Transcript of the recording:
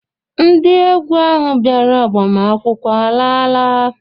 Ndị egwu ahụ bịara agbamakwụkwọ alaala?